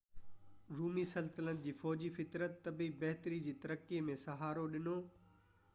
رومي سلطنت جي فوجي فطرت طبي بهتري جي ترقي ۾ سهارو ڏنو